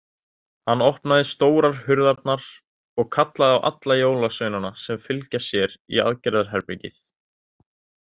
Hann opnaði stórar hurðarnar og kallaði á alla jólasveinana að fylgja sér í aðgerðarherbergið.